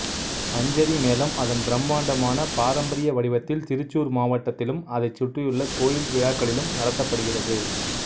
பஞ்சரி மேளம் அதன் பிரம்மாண்டமான பாரம்பரிய வடிவத்தில் திருச்சூர் மாவட்டத்திலும் அதைச் சுற்றியுள்ள கோயில் விழாக்களிலும் நடத்தப்படுகிறது